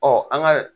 Ɔ an ka